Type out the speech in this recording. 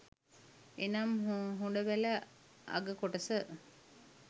එනම් හොඬවැල අග කොටස